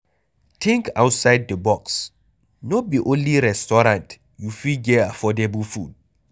Think outside of di box, no be only restaurant you fit get affordable food